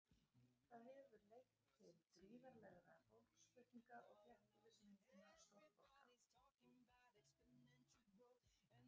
Það hefur leitt til gríðarlegra fólksflutninga og þéttbýlismyndunar stórborga.